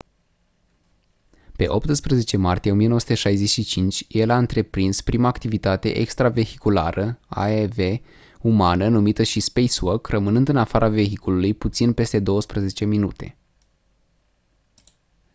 pe 18 martie 1965 el a întreprins prima activitate extravehiculară aev umană numită și «spacewalk» rămânând în afara vehiculului puțin peste douăsprezece minute.